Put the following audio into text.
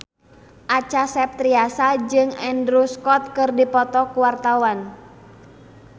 Acha Septriasa jeung Andrew Scott keur dipoto ku wartawan